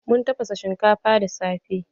Mun tafasa shinkafa da safe.